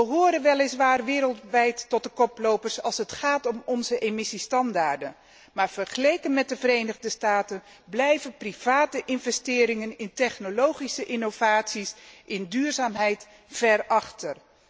We horen weliswaar wereldwijd tot de koplopers als het gaat om onze emissiestandaarden, maar vergeleken met de Verenigde Staten blijven particuliere investeringen in technologische innovaties en in duurzaamheid ver achter.